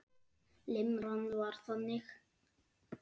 Limran var þannig